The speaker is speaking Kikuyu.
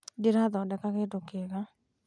ndĩrathodeka kĩdũ kĩega